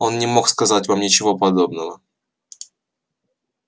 он не мог сказать вам ничего подобного